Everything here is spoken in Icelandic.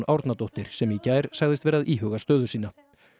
Árnadóttir sem í gær sagðist vera að íhuga stöðu sína